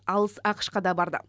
алыс ақш қа да барды